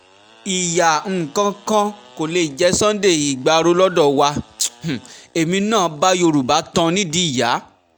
ìyá um kankan kò lè jẹ́ sunday igbárò lọ́dọ̀ wa um èmi náà bá yorùbá tan nídìí ìyá